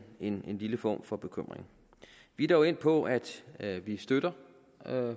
en lille form for bekymring vi er dog endt på at at vi støtter